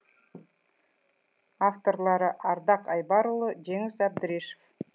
авторлары ардақ айбарұлы жеңіс әбдірешев